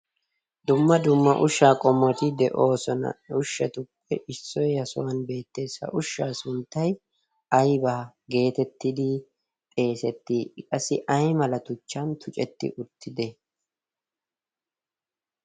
Dumma dumma ushshaa qommoti de'oosona. He ushshatuppe issoy ha sohuwan beettees. Ha ushshaa sunttay aybaa geetettidi xeesettii?I qassi ay mala tuchchan tucetti uttidee?